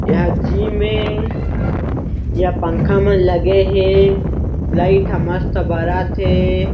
एहा जिम ए इहापंखा मन लगे हे लाइट ह मस्त बरत हे।